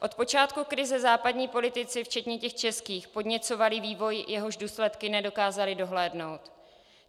Od počátku krize západní politici včetně těch českých podněcovali vývoj, jehož důsledky nedokázali dohlédnout.